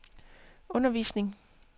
undervisning